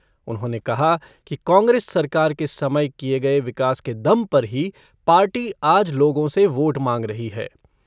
उन्होंने कहा कि कांग्रेस सरकार के समय किए गए विकास के दम पर ही पार्टी आज लोगों से वोट मांग रही है।